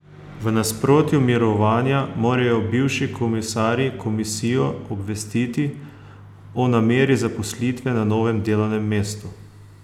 V obdobju mirovanja morajo bivši komisarji komisijo obvestiti o nameri zaposlitve na novem delovnem mestu.